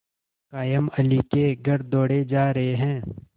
कायमअली के घर दौड़े जा रहे हैं